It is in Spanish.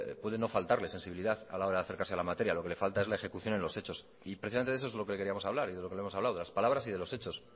puede no faltarle sensibilidad a la hora de acercarse a la materia lo que le falta es la ejecución en los hechos y precisamente de eso es lo que le queríamos hablar y de lo que no hemos hablado de las palabras y de los hechos